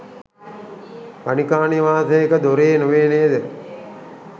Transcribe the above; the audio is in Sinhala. ගණිකා නිවාසයක දොරේ නොවේ නේද?